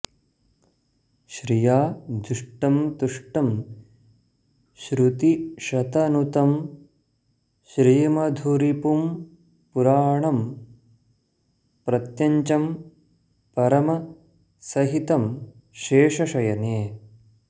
श्रिया जुष्टं तुष्टं श्रुतिशतनुतं श्रीमधुरिपुं पुराणं प्रत्यञ्चं परमसहितं शेषशयने